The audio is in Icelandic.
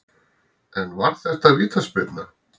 En var þetta vítaspyrna?